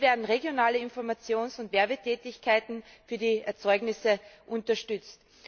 Hier werden regionale Informations und Werbetätigkeiten für die Erzeugnisse unterstützt.